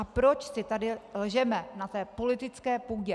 A proč si tady lžeme na té politické půdě?